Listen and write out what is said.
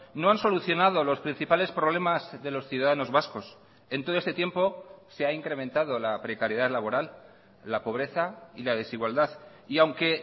no han solucionado los principales problemas de los ciudadanos vascos en todo este tiempo se ha incrementado la precariedad laboral la pobreza y la desigualdad y aunque